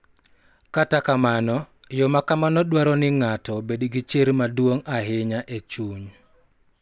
Kata kamano, yo ma kamano dwaro ni ng�ato obed gi chir maduong� ahinya e chuny, .